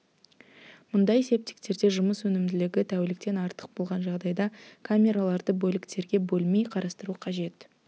мұндай септиктерде жұмыс өнімділігі тәуліктен артық болған жағдайда камераларды бөліктерге бөлмей қарастыру қажет